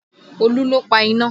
Olú ló pa iná